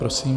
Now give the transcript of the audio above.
Prosím.